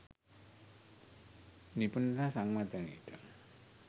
නිපුණතා සංවර්ධනයට.